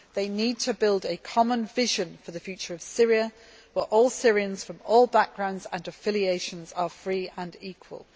They need to build a common vision for the future of Syria, where all Syrians from all backgrounds and affiliations are free and equal.